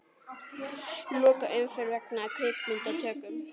Loka umferð vegna kvikmyndatöku